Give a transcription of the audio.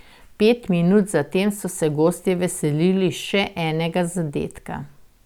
Pet minut zatem so se gostje veselili še enega zadetka.